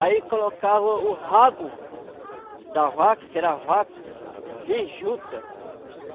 Aí colocava o o rabo da vaca, que era a vaca de juta.